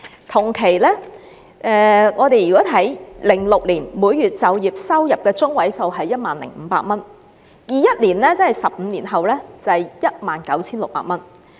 同期 ，2006 年的每月就業收入中位數是 10,500 元 ；2021 年，是 19,600 元。